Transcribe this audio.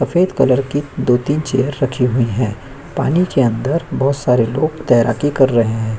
सफेद कलर की दो-तीन चेयर रखी हुई है पानी के अंदर बहुत सारे लोग तैराकी कर रहे हैं।